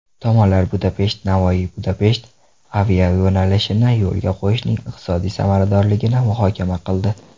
Tomonlar BudapeshtNavoiyBudapesht aviayo‘nalishini yo‘lga qo‘yishning iqtisodiy samaradorligini muhokama qildi.